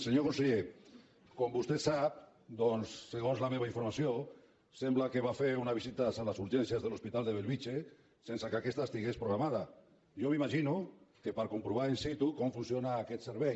senyor conseller com vostè sap doncs segons la meva informació sembla que va fer una visita a les urgències de l’hospital de bellvitge sense que aquesta estigués programada jo m’imagino que per comprovar in situaquest servei